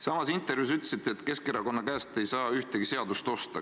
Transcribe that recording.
Samas intervjuus te ütlesite, et Keskerakonna käest ei saa ühtegi seadust osta.